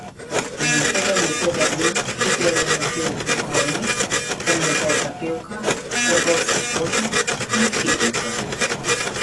Nekega lepega dne pridejo v motel duhovnik, temnopolta pevka, trgovski potnik in hipijka ...